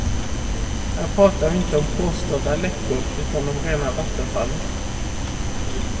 Här pratar vi inte om påstådda läckor, utan om rena vattenfallet.